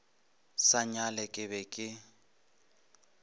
sa nyale ke be ke